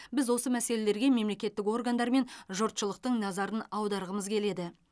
біз осы мәселелерге мемлекеттік органдар мен жұртшылықтың назарын аударғымыз келеді